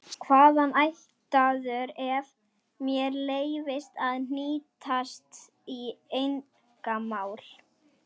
Hvaðan ættaður ef mér leyfist að hnýsast í einkamál?